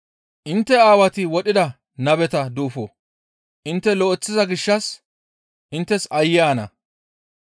«Intte Aawati wodhida nabeta duufo intte lo7eththiza gishshas inttes aayye ana.